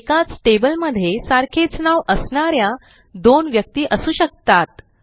एकाच टेबल मध्ये सारखेच नाव असणा या दोन व्यक्ती असू शकतात